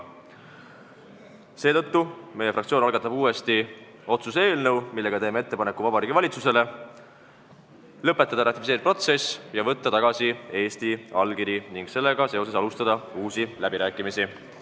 Seetõttu algatab meie fraktsioon uuesti otsuse eelnõu, millega teeme ettepaneku Vabariigi Valitsusele lõpetada ratifitseerimisprotsess, võtta tagasi Eesti allkiri ning sellega seoses alustada uusi läbirääkimisi.